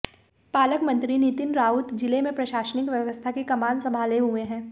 पालकमंत्री नितीन राऊत जिले में प्रशासनिक व्यवस्था की कमान संभाले हुए हैँ